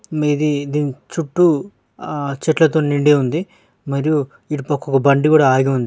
మీది దీని చుట్టూ ఆ చెట్ల తోని నిండి ఉంది మరియు ఇటు పక్క కూడా ఒక బండి ఆగి ఉంది.